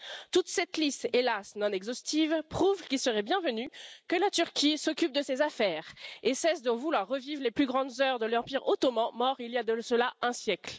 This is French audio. Toute cette liste, hélas non exhaustive, prouve qu'il serait bienvenu que la Turquie s'occupe de ses affaires et cesse de vouloir revivre les plus grandes heures de l'Empire ottoman, mort il y a de cela un siècle.